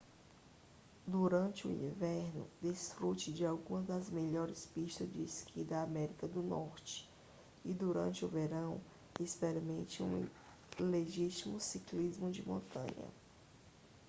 durante o inverno desfrute de algumas das melhores pistas de esqui da américa do norte e durante o verão experimente um legítimo ciclismo de montanha